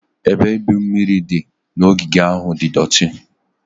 Ebe igwu mmiri dị n'ogige ahụ di doti.